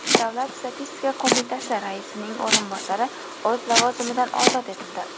Davlat statistika qo‘mitasi raisining o‘rinbosari o‘z lavozimidan ozod etildi.